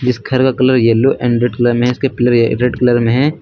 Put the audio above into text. जिस घर का colour yellow and red colour में है इसके पिलरे रेड कलर में हैं।